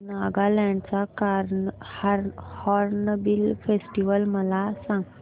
नागालँड चा hornbill festival मला सांग